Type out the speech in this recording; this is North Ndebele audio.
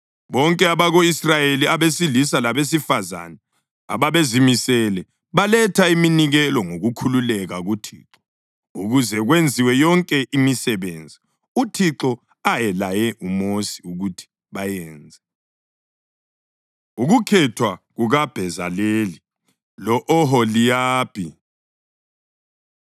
Bonke abako-Israyeli abesilisa labesifazane ababezimisele baletha iminikelo ngokukhululeka kuThixo ukuze kwenziwe yonke imisebenzi uThixo ayelaye uMosi ukuthi bayenze. Ukukhethwa KukaBhezaleli Lo-Oholiyabhi